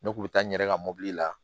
Ne kun bɛ taa n yɛrɛ ka mobili la